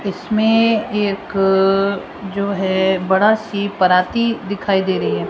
इसमें एक जो है बड़ा सी पराती दिखाई दे रही है।